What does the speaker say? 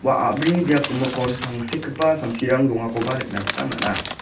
ua a·brini biap gimikon tangsekgipa samsirang dongakoba nikna gita man·a.